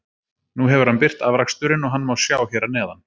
Nú hefur hann birt afraksturinn og hann má sjá hér að neðan.